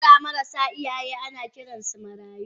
Yara marasa iyaye ana Kiransu marayu.